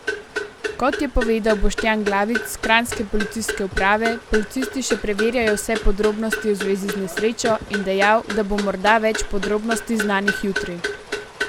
Kot je povedal Boštjan Glavič s kranjske policijske uprave, policisti še preverjajo vse podrobnosti v zvezi z nesrečo, in dejal, da bo morda več podrobnosti znanih jutri.